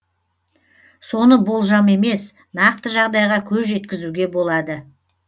соны болжам емес нақты жағдайға көз жеткізуге болады